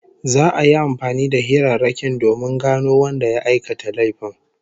Za'a yi amfani da hirarrakin domin gano wanda ya aikata laifin